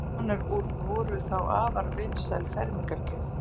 þess konar úr voru þá afar vinsæl fermingargjöf